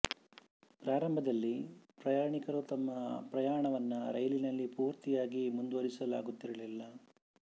ಪ್ರಾರಂಭದಲ್ಲಿ ಪ್ರಯಾಣಿಕರು ತಮ್ಮ ಪ್ರಯಾಣವನ್ನು ರೈಲಿನಲ್ಲೇ ಪೂರ್ತಿಯಾಗಿ ಮುಂದುವರಿಸಲಾಗು ತ್ತಿರಲಿಲ್ಲ